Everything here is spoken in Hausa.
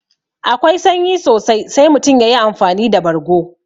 Akwai sanyi sosai sai mutum yayi amfani da bargo